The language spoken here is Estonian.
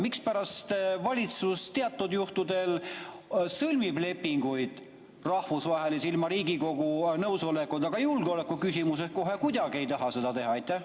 Mispärast valitsus teatud juhtudel sõlmib rahvusvahelisi lepinguid ilma Riigikogu nõusolekuta, aga julgeolekuküsimuses ta kohe kuidagi ei taha seda teha?